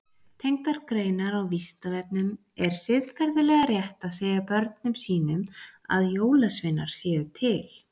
Tengdar greinar á Vísindavefnum Er siðferðilega rétt að segja börnum sínum að jólasveinar séu til?